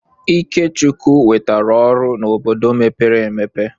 Ikechukwu nwetara ọrụ n'obodo mepere emepe.